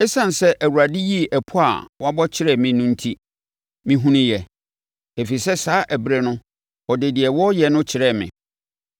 Esiane sɛ Awurade yii ɛpɔ a wɔabɔ kyerɛɛ me no enti, mehunuuɛ, ɛfiri sɛ saa ɛberɛ no ɔde deɛ wɔreyɛ no kyerɛɛ me.